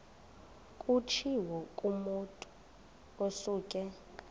kutshiwo kumotu osuke